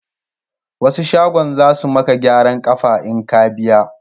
Wasu shagon za su maka gyaran kafa in ka biya